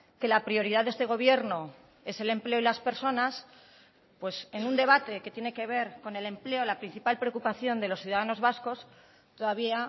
que la prioridad de este gobierno es el empleo y las personas pues en un debate que tiene que ver con el empleo la principal preocupación de los ciudadanos vascos todavía